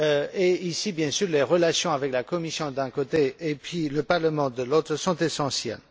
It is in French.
et à cet égard, bien sûr, les relations avec la Commission d'un côté, et le Parlement de l'autre, sont essentielles.